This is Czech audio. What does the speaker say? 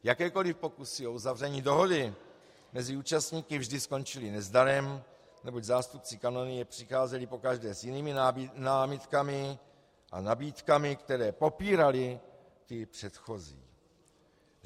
Jakékoli pokusy o uzavření dohody mezi účastníky vždy skončily nezdarem, neboť zástupci kanonie přicházeli pokaždé s jinými námitkami a nabídkami, které popíraly ty předchozí.